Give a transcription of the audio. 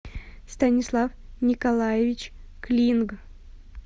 станислав николаевич клинг